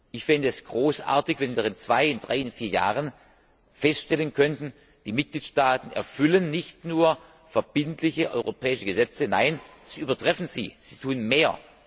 Ich fände es großartig, wenn wir in zwei, drei oder vier Jahren feststellen könnten Die Mitgliedstaaten erfüllen nicht nur verbindliche europäische Gesetze, nein, sie übertreffen sie, sie tun mehr!